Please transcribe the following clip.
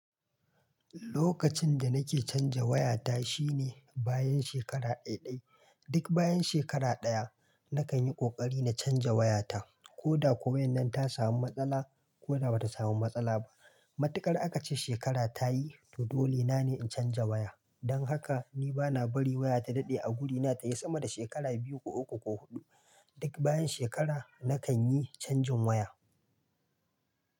Lokacin da nake canja wayata, shine bayan shekara ɗai-ɗai. Duk bayan shekara ɗaya, nakan yi ƙoƙari na canza wayata, ko da ko wannan ta samu matsala, ko da ba ta samu matsala ba. Matuƙar aka ce shekara ta yi, to dole na ne in canja waya. Don haka ni ba na bari waya ta daɗe a gurina ta yi sama da shekara biyu ko uku ko huɗu. Duk bayan shekara nakan yi canjin waya.